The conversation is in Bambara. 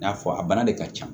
N y'a fɔ a bana de ka ca